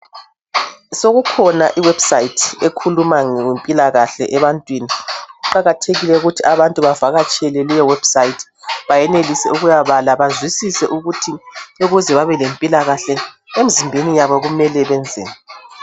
Sokukhona iwebsite ekhuluma ngempilakahle ebantwini kuqakathekile ukuthi abantu bavakatshele liwebsite bayenelise ukuya bala bazwisise ukuthi ukuze babe lempilakahle emzimbeni yabo kumele benzeni.